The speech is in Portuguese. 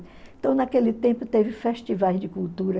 Então, naquele tempo, teve festivais de cultura.